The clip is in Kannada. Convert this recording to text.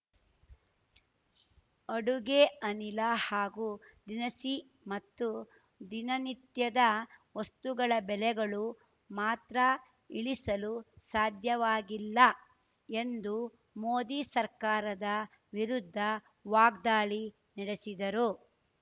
ಅಡುಗೆ ಅನಿಲ ಹಾಗೂ ದಿನಸಿ ಮತ್ತು ದಿನನಿತ್ಯದ ವಸ್ತುಗಳ ಬೆಲೆಗಳು ಮಾತ್ರ ಇಳಿಸಲು ಸಾಧ್ಯವಾಗಿಲ್ಲ ಎಂದು ಮೋದಿ ಸರ್ಕಾರದ ವಿರುದ್ಧ ವಾಗ್ದಾಳಿ ನಡೆಸಿದರು